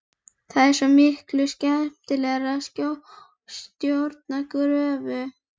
Það er svo miklu skemmtilegra að stjórna gröfu.